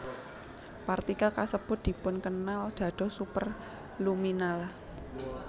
Partikel kasebut dipunkenal dados superluminal